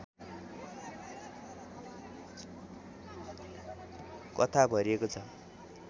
कथा भरिएको छ